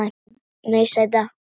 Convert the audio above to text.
Nei, sæta.